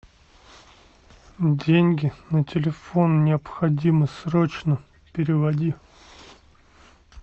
деньги на телефон необходимы срочно переводи